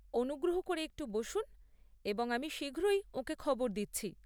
অনুগ্রহ করে একটু বসুন এবং আমি শীঘ্রই ওঁকে খবর দিচ্ছি ।